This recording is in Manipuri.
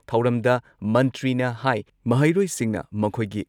ꯊꯧꯔꯝꯗ ꯃꯟꯇ꯭ꯔꯤꯅ ꯍꯥꯏ ꯃꯍꯩꯔꯣꯏꯁꯤꯡꯅ ꯃꯈꯣꯏꯒꯤ